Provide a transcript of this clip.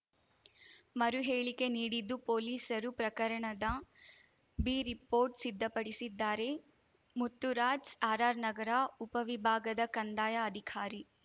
ಮರು ಹೇಳಿಕೆ ನೀಡಿದ್ದು ಪೊಲೀಸರು ಪ್ರಕರಣದ ಬಿರಿಪೋರ್ಟ್‌ ಸಿದ್ಧಪಡಿಸಿದ್ದಾರೆ ಮುತ್ತುರಾಜ್‌ ಆರ್‌ಆರ್‌ನಗರ ಉಪವಿಭಾಗದ ಕಂದಾಯ ಅಧಿಕಾರಿ